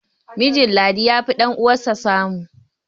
mijin ladi ya fi ɗan'uwansa samu